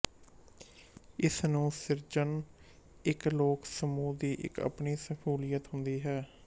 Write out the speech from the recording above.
ਇਸ ਨੂੰ ਸਿਰਜਣ ਇੱਕ ਲੋਕ ਸਮਹ ਦੀ ਇੱਕ ਆਪਣੀ ਸ਼ਮੂਲੀਅਤ ਹੁੰਦੀ ਹੈ